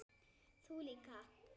Þú líka.